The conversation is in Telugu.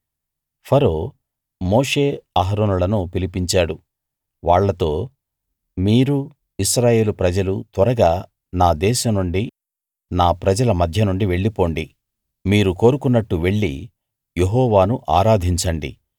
ఫరో మోషే అహరోనులను పిలిపించాడు వాళ్ళతో మీరూ ఇశ్రాయేలు ప్రజలూ త్వరగా నా దేశం నుండి నా ప్రజల మధ్యనుండి వెళ్ళిపొండి మీరు కోరుకున్నట్టు వెళ్లి యెహోవాను ఆరాధించండి